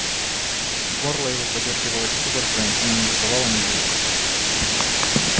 горло его подёргивалось судорогой но не издавало ни звука